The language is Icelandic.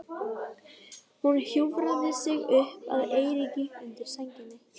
Hún hjúfraði sig upp að Eiríki undir sænginni.